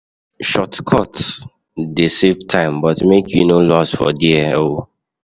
Shotcuts dey save time but make you no loss for there o.